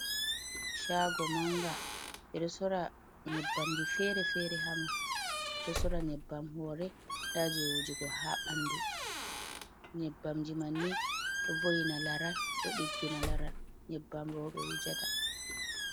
Chaago mannga ɓe ɗo soora nyebbamji feere-feere haa maa ɓe ɗo soora nyebbam hoore, ndaa jey wujugo haa bandu, nyebbamji man ni ɗo vo''ina laral ɗo diggina laral, nyebbam rooɓe wujata.